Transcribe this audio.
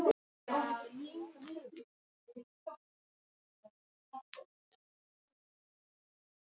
Pabbi minn þetta er orðið allt of dýrt símtal.